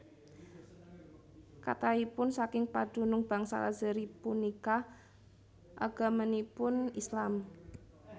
Kathahipun saking padunung bangsa Azeri punika agaminipun Islam